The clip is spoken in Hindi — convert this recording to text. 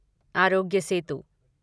आरोग्य सेतु